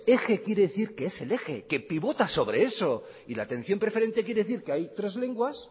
eje quiere decir que es el eje que pivota sobre eso y la atención preferente quiere decir que hay tres lenguas